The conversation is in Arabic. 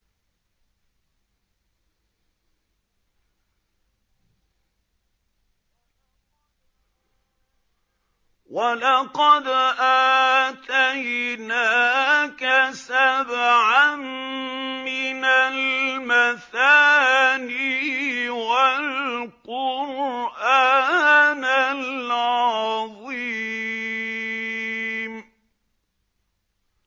وَلَقَدْ آتَيْنَاكَ سَبْعًا مِّنَ الْمَثَانِي وَالْقُرْآنَ الْعَظِيمَ